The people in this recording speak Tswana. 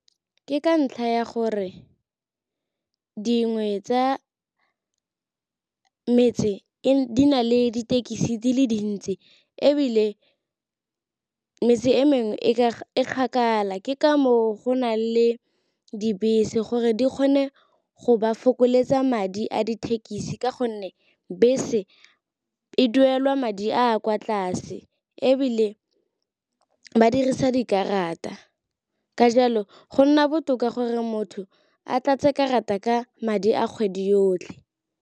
Ke ka ntlha ya gore dingwe tsa metse di na le ditekisi di le dintsi, ebile metse e mengwe e kgakala ke ka moo go na le dibese gore di kgone go ba fokoletsa madi a dithekisi ka gonne bese e duelwa madi a kwa tlase, ebile ba dirisa dikarata. Ka jalo go nna botoka gore motho a tlatse karata ka madi a kgwedi yotlhe.